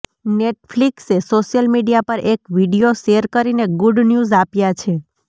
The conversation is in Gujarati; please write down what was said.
નેટફ્લિક્સે સોશિયલ મીડિયા પર એક વીડિયો શેર કરીને ગૂડ ન્યૂઝ આપ્યા છે